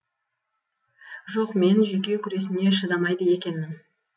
жоқ мен жүйке күресіне шыдамайды екенмін